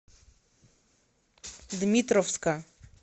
дмитровска